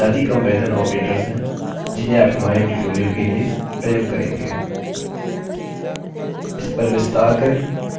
यह बुनियादी comparison operators हैं जिन्हें आप हमारे ट्यूटोरियल के लिए प्रयोग करेंगे